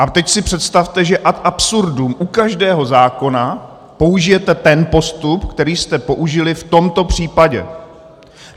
A teď si představte, že ad absurdum u každého zákona použijete ten postup, který jste použili v tomto případě.